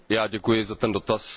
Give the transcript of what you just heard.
Já děkuji za ten dotaz.